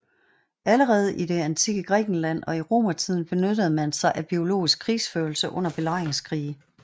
Allerede i det antikke Grækenland og i romertiden benyttede man sig af biologisk krigsførelse under belejringskrige